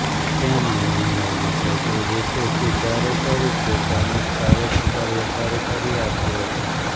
તેમણે ઈમેઈલમાં ખોટી રીતે સુધારો કરી પોતાને જ ભારે પગારવધારો કરી આપ્યો હતો